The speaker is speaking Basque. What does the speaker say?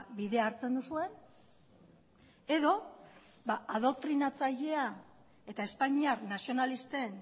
bidea hartzen duzuen edo adoktrinatzailea eta espainiar nazionalisten